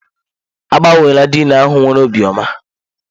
Agbanweela Diin ahụ nwere obi ọma.